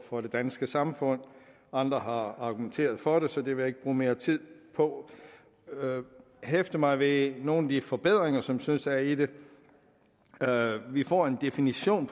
for det danske samfund andre har argumenteret for det så det vil ikke bruge mere tid på jeg hæfter mig ved nogle af de forbedringer som jeg synes er i det vi får en definition